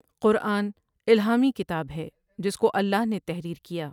قرآن الہامی کتاب ہے جس کو اللہ نے تحریر کیا ۔